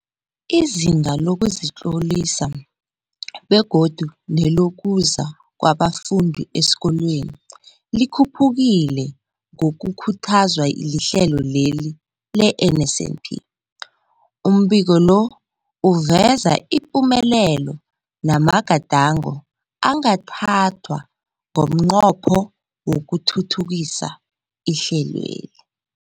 Izinga lokuzitlolisa begodu nelokuza kwabafundi esikolweni likhuphukile ngokukhuthazwa lihlelo le-NSNP. Umbiko lo uveza ipumelelo namagadango angathathwa ngomnqopho wokuthuthukisa ihlelweli.